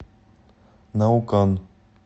наукан